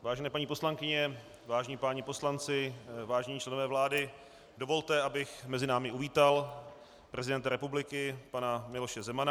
Vážené paní poslankyně, vážení páni poslanci, vážení členové vlády, dovolte, abych mezi námi uvítal prezidenta republiky, pana Miloše Zemana.